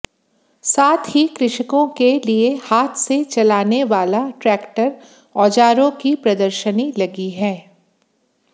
साथ ही कृषकों के लिए हाथ से चलाने वाला ट्रैक्टर औजारों की प्रदर्शनी लगी है